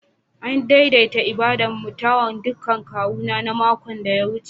An daidaita ibada'n mutawan ɗukan kawu na makon da ya wuce.